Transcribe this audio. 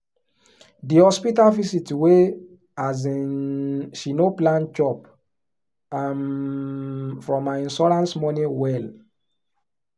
the hospital visit wey um she no plan chop um from her insurance money well